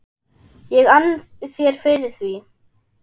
ég ann þér fyrir því.